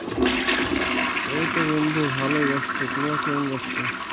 এইতো বন্ধু ভালই আছি, তোমার কিরকম যাচ্ছে?